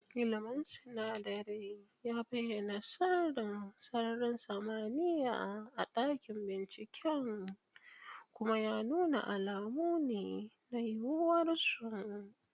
ilmin sinadarai ya bayyana sirrin sararin samaniya a dakin binciken, kuma ya nuna alamu ne na yiwuwar su.